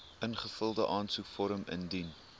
ingevulde aansoekvorm indien